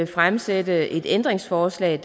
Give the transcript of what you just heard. fremsætte et ændringsforslag